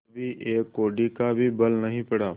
कभी एक कौड़ी का भी बल नहीं पड़ा